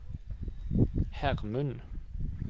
Hermund